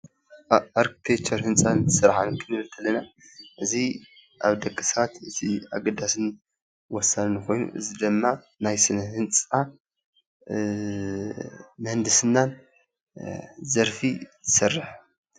ኣርክቴክቸርን ህንፃን ስራሕን ክንብል ከለና እዚ ኣብ ደቂ ሰባት እቲ ኣገዳስን ወሳንን ኮይኑ እዚ ድማ ናይ ስነ ህንፃን ምህንድስናን ዘርፊ ዝሰርሕ ፡፡